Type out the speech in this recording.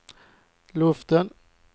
luften